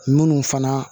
Minnu fana